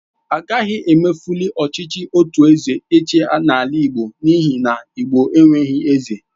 Agaghị emefuli ọchịchị otu eze ịchị n'ala igbo n'ihi na igbo enweghị eze